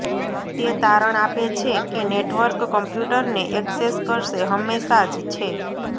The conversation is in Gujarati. તે તારણ આપે છે કે નેટવર્ક કમ્પ્યુટરને ઍક્સેસ કરશે હંમેશા જ છે